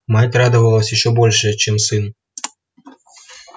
мать радовалась ещё больше чем сын